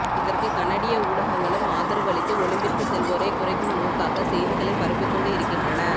இதற்கு கனடிய ஊடகங்களும் ஆதரவு அளித்து ஒலிம்பிற்கு செல்வோரை குறைக்கும் நோக்காக செய்திகளை பரப்பிக் கொண்டு இருக்கின்றன